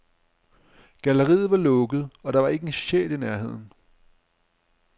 Galleriet var lukket, og der var ikke en sjæl i nærheden.